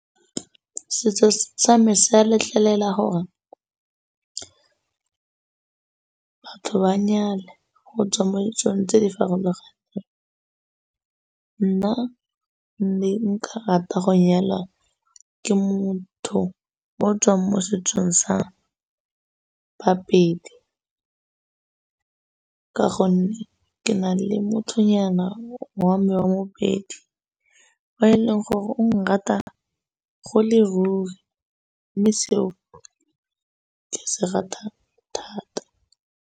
Setso sa me sa letlelela gore batho ba nyale go tswa mo ditsong tse di farologaneng. Nna mme nka rata go nyala ke motho o o tswang mo setsong baPedi ka gonne ke na le mothonyana wa me wa moPedi o e leng gore o nrata e le ruri mme seo ke se rata thata.